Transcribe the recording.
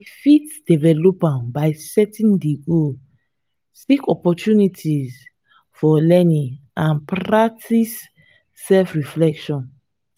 i fit develop am by setting di goals seek opportunities for learning and practice self-reflection.